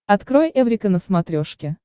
открой эврика на смотрешке